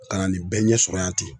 Ka na nin bɛɛ ɲɛsɔrɔ yan ten